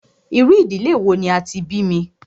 Irú ìdílé wò ní a tí bí mí?